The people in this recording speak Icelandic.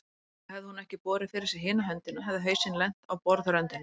Og hefði hún ekki borið fyrir sig hina höndina hefði hausinn lent á borðröndinni.